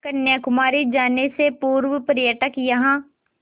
कन्याकुमारी जाने से पूर्व पर्यटक यहाँ